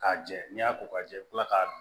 K'a jɛ n'i y'a ko k'a jɛ i bɛ kila k'a dun